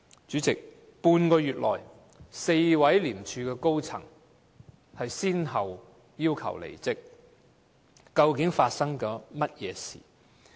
主席，半個月內 ，4 位廉署高層人士先後要求離職，究竟發生了甚麼事情？